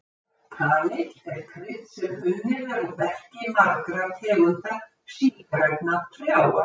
Kanill er krydd sem unnið er úr berki margra tegunda sígrænna trjáa.